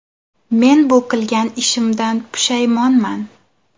Men bu qilgan ishimdan pushaymonman.